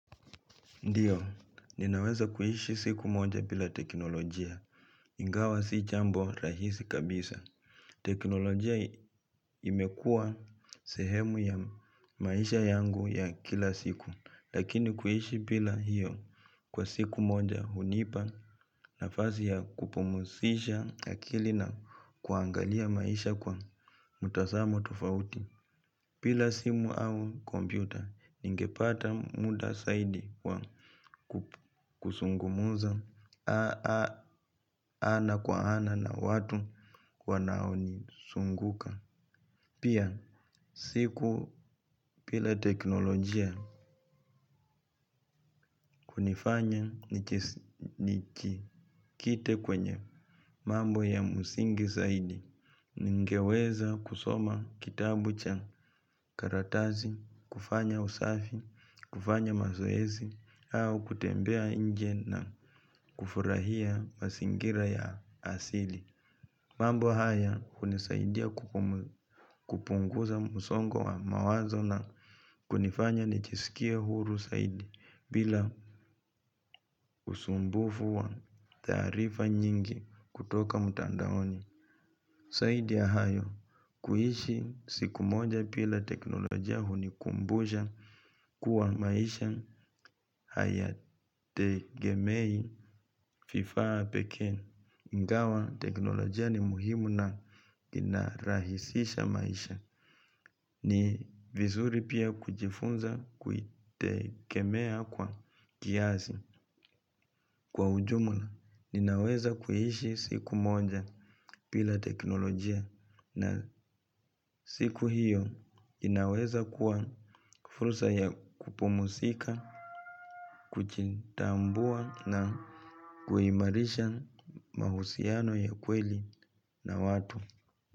Ndio, ninaweza kuishi siku moja bila teknolojia, ingawa si jambo rahisi kabisa. Teknolojia imekua sehemu ya maisha yangu ya kila siku, lakini kuishi bila hiyo kwa siku moja hunipa na fasi ya kupumusisha ya akili na kuangalia maisha kwa mtazamo tofauti. Bila simu au kompyuta ningepata muda zaidi wa kuzungumza ana kwa ana na watu wanao nizunguka pia siku pila teknolojia kunifanya nijikite kwenye mambo ya msingi zaidi ningeweza kusoma kitabu cha karatasi, kufanya usafi, kufanya mazoezi au kutembea nje na kufurahia mazingira ya asili mambo haya hunisaidia kupunguza msongo wa mawazo na kunifanya nijiskie huru zaidi bila usumbufu wa taarifa nyingi kutoka mtandaoni zaidi ya hayo kuishi siku moja bila teknolojia hunikumbusha maisha hayategemei vifaa pekee ingawa, teknolojia ni muhimu na inarahisisha maisha. Ni vizuri pia kujifunza kuitegemea kwa kiasi kwa ujumula. Ninaweza kuishi siku moja bila teknolojia na siku hiyo inaweza kuwa fursa ya kupumzika, kujitambua na kuimarisha mahusiano ya kweli na watu.